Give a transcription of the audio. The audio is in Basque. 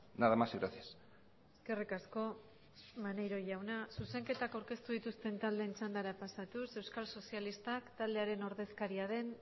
nada más y gracias eskerrik asko maneiro jauna zuzenketak aurkeztu dituzten taldeen txandara pasatuz euskal sozialistak taldearen ordezkaria den